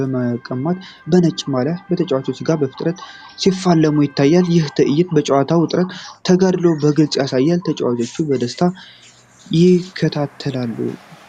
ለመቀማት ከነጭ ማልያ ከተጫዋች ጋር በፍጥነት ሲፋለሙ ይታያል። ይህ ትዕይንት የጨዋታውን ውጥረትና ተጋድሎ በግልጽ ያሳያል፤ ተመልካቾች በደስታ ይከታተላሉ።